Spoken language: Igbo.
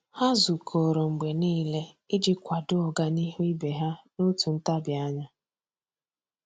Há zùkọ́rọ́ mgbe nìile iji kwàdòọ́ ọ́gànihu ibe ha n’òtù ntabi anya.